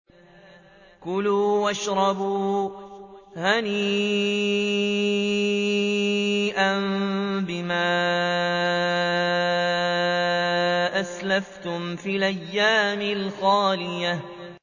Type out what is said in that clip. كُلُوا وَاشْرَبُوا هَنِيئًا بِمَا أَسْلَفْتُمْ فِي الْأَيَّامِ الْخَالِيَةِ